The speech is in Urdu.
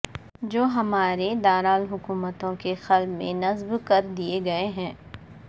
جو ہمارے دارالحکومتوں کے قلب میں نصب کر دیے گئے ہیں